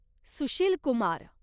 Sushil Kumar